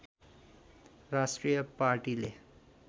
राष्ट्रिय पार्टीले